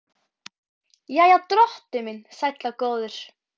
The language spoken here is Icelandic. Jæja, drottinn minn sæll og góður.